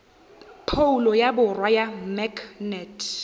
phoulo ya borwa ya maknete